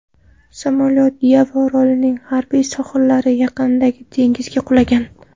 Samolyot Yava orolining g‘arbiy sohillari yaqinidagi dengizga qulagan.